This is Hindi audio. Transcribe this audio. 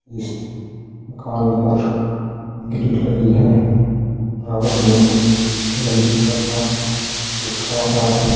इस मकान पर ग्रील लगी है। व्हाइट कलर का दूसरा मकान है।